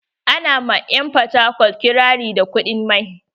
Ana ma 'yan porthacurt ƙirari da kuɗin mai.